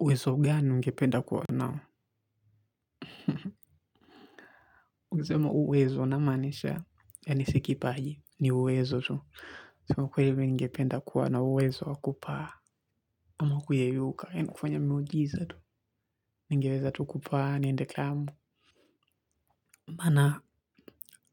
Uwezo gani ningependa kuwa nao? Uwezo namaanisha ya nisikipaji, ni uwezo tu. Uwezo tu, ningependa kuwa na uwezo wakupaa. Ama kuyeyuka, eno kufanya miujizatu. Ningeweza tu kupaa, nindeklamu. Maana